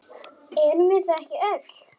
Erum við það ekki öll?